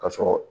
Ka sɔrɔ